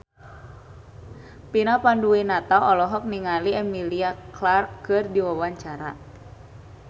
Vina Panduwinata olohok ningali Emilia Clarke keur diwawancara